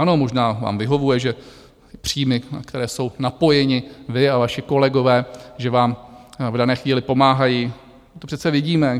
Ano, možná vám vyhovuje, že příjmy, na které jsou napojeni vy a vaši kolegové, že vám v dané chvíli pomáhají, to přece vidíme.